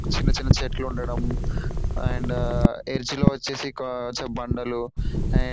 చిన్న చిన్న చెట్లు ఉండడం అండ్ అర్చి లో వచ్చేసి ఒక బండలు అండ్ --